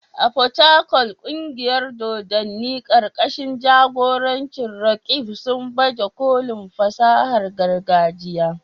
A Port Harcourt, kungiyar dodanni karkashin jagorancin Roqeeb, sun baje kolin fasahar gargajiya.